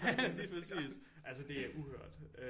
Lige præcis altså det er uhørt øh